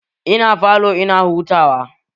Ina falo ina hutawa